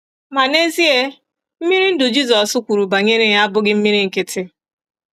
Ma, n’ezie, mmiri ndụ Jizọs kwuru banyere ya abụghị mmiri nkịtị.